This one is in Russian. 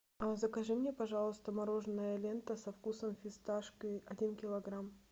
закажи мне пожалуйста мороженое лента со вкусом фисташки один килограмм